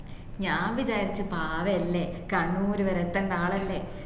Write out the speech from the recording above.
ഞാൻ വിചാരിച് പാവല്ലേ കണ്ണുരുവരെ എത്തണ്ട ആളല്ലേ